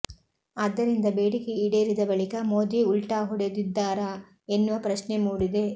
ಆದ್ದರಿಂದ ಬೇಡಿಕೆ ಈಡೇರಿದ ಬಳಿಕ ಮೋದಿ ಉಲ್ಟಾ ಹೊಡೆದಿದ್ದಾರಾ ಎನ್ನುವ ಪ್ರಶ್ನೆ ಮೂಡಿದೆ